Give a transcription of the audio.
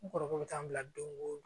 N kɔrɔkɛ bɛ taa n bila don o don